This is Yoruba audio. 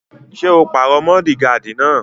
Ṣé o pàrọ mọ́ọ́digààdì náà?